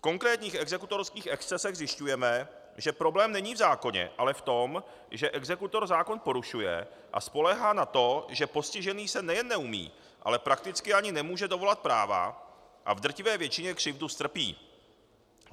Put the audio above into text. V konkrétních exekutorských excesech zjišťujeme, že problém není v zákoně, ale v tom, že exekutor zákon porušuje a spoléhá na to, že postižený se nejen neumí, ale prakticky ani nemůže dovolat práva a v drtivé většině křivdu strpí.